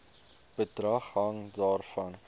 bedrag hang daarvan